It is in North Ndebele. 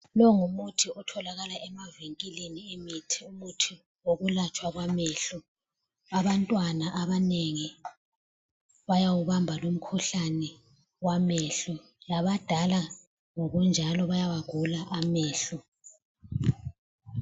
Longumuthi otholakala emavinkilini emithi okwelatshwa wamehlo. Abantwana abanengi bayawubamba lumkhuhlane wamehlo labadala ngokunjalo bayawagula amehlo.